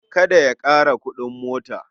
Kada a ƙara kuɗin mota.